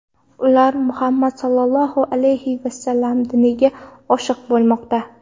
Ular Muhammad Sollallohu alayhi vasallam diniga oshiq bo‘lmoqda.